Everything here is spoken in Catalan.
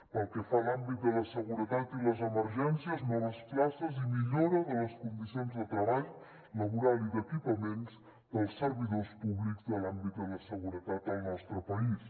pel que fa a l’àmbit de la seguretat i les emergències noves places i millora de les condicions de treball laboral i d’equipaments dels servidors públics de l’àmbit de la seguretat al nostre país